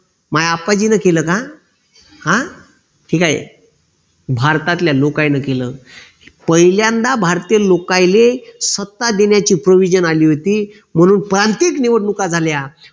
माया अप्पाजीने केलं का? हा ठीक आहे भारतातल्या लोकायन केलं पहिल्यांदा भारतीय लोकायले सत्ता देण्याची provision अली होती म्हणून प्रांतिक निवडणुका झाल्या.